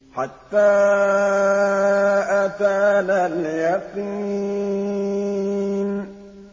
حَتَّىٰ أَتَانَا الْيَقِينُ